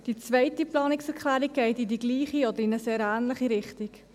Die zweite Planungserklärung geht in die gleiche oder in eine sehr ähnliche Richtung: